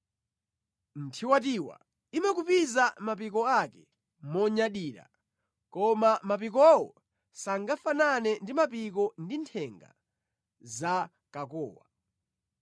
“Nthiwatiwa imakupiza mapiko ake monyadira, koma mapikowo sangafanane ndi mapiko ndi nthenga za kakowa.